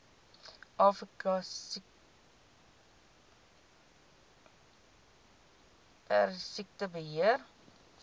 afrika perdesiekte beheer